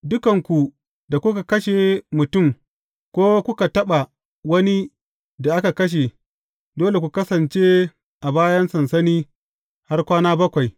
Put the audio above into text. Dukanku da kuka kashe mutum, ko kuka taɓa wani da aka kashe, dole ku kasance a bayan sansani har kwana bakwai.